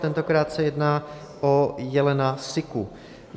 Tentokrát se jedná o jelena siku.